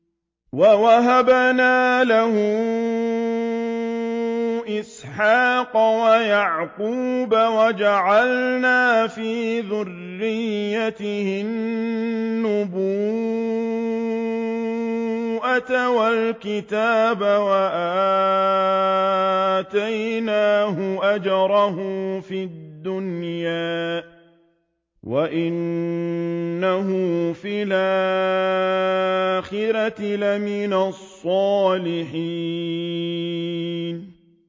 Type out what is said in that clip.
وَوَهَبْنَا لَهُ إِسْحَاقَ وَيَعْقُوبَ وَجَعَلْنَا فِي ذُرِّيَّتِهِ النُّبُوَّةَ وَالْكِتَابَ وَآتَيْنَاهُ أَجْرَهُ فِي الدُّنْيَا ۖ وَإِنَّهُ فِي الْآخِرَةِ لَمِنَ الصَّالِحِينَ